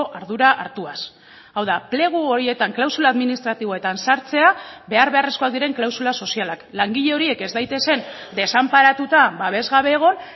ardura hartuaz hau da plegu horietan klausula administratiboetan sartzea behar beharrezkoak diren klausula sozialak langile horiek ez daitezen desanparatuta babes gabe egon